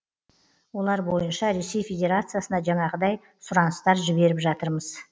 олар бойынша ресей федерациясына жаңағыдай сұраныстар жіберіп жатырмыз